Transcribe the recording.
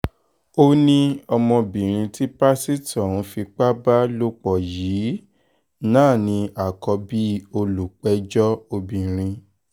ó ní ọmọbìnrin tí pásítọ̀ ń fipá bá lò pọ̀ yìí náà ní àkọ́bí olùpẹ̀jọ́ lóbìnrin